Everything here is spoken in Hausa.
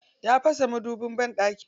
Ya fasa madubin banɗaki.